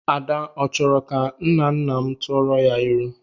Ada ọ chọrọ ka nnanna m tụọrọ ya ilu?